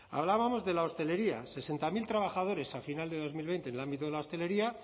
hablábamos de la hostelería sesenta mil trabajadores al final de dos mil veinte en el ámbito de la hostelería